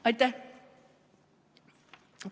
Aitäh!